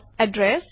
address